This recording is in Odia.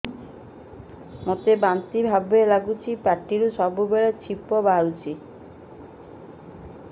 ମୋତେ ବାନ୍ତି ବାନ୍ତି ଭାବ ଲାଗୁଚି ପାଟିରୁ ସବୁ ବେଳେ ଛିପ ବାହାରୁଛି